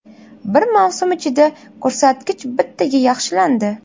Bir mavsum ichida ko‘rsatkich bittaga yaxshilandi.